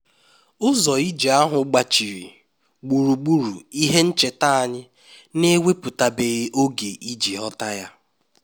ụzọ ije ahụ gbachiri gburugburu ihe ncheta anyị na-ewepụtabeghị oge iji ghọta ya